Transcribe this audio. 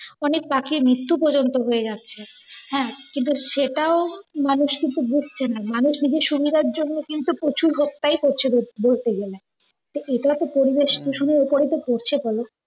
অনেক পাখির মিত্ত্যু পর্যন্ত হয়ে যাচ্ছে। হ্যাঁ, কিন্তু সেটাও মানুষ কিন্তু বুঝছে না। মানুষ নিজের সুবিধার জন্য পশু হত্যা ই করছে বলতে গেলে। টা এটাও তো পরিবেশ দূষণের অপরই তো পড়ছে বল।